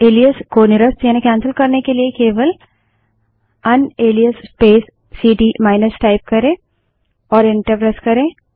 इस एलाइस को निरस्त यानि कैन्सल करने के लिए केवल unalias space CD minus type करे और इंटर प्रेस करे